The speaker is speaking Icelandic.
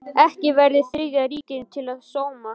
Ekki verið Þriðja ríkinu til sóma.